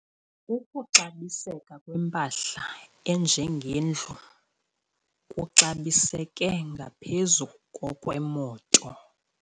Ukuxabiseka kwempahla enjengendlu kuxabiseke ngaphezu kokwemoto.